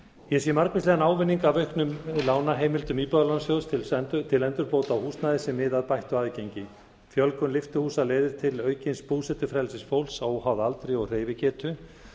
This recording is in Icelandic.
ég sé margvíslegan ávinning að auknum lánaheimildum íbúðalánasjóð til endurbóta á húsnæði sem miða að bættu aðgengi fjölgun lyftuhúsa leiðir til aukins búsetuferlis fólks óháð aldri og hreyfigetu